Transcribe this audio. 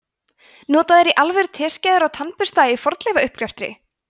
nota þeir í alvöru teskeiðar og tannbursta í fornleifauppgreftri